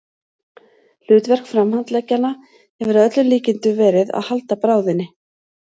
Hlutverk framhandleggjanna hefur að öllum líkindum verið að halda bráðinni.